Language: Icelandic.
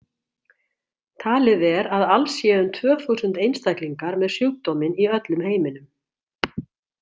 Talið er að alls séu um tvö þúsund einstaklingar með sjúkdóminn í öllum heiminum.